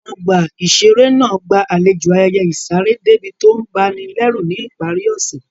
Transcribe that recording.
Ọgbà ìṣeré náà gba àlejò ayẹyẹ ìsaré déébì tó ń ba ni lẹ́rù ní ìparí ọ̀sẹ̀